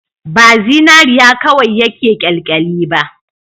Ba zinariya kawai yake kyalkyali ba